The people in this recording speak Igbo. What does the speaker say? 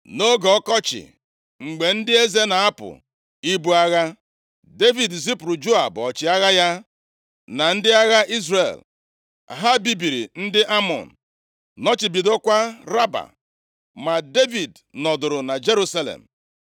Nʼoge ọkọchị, mgbe ndị eze na-apụ ibu agha, Devid zipụrụ Joab ọchịagha ya, na ndị agha Izrel. Ha bibiri ndị Amọn, nọchibidokwa Raba. Ma Devid nọdụrụ na Jerusalem.